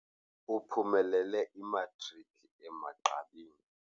Uphumelele imatriki emagqabini.